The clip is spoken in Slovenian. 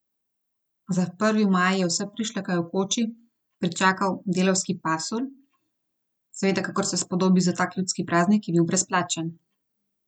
Za prvi maj je vse prišleke v koči pričakal delavski pasulj, seveda, kakor se spodobi za tak ljudski praznik, je bil brezplačen.